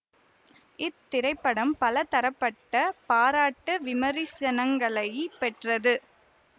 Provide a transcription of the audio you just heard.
இத்திரைப்படம் பலதரப்பட்ட பாராட்டு விமரிசனங்களைப் பெற்றது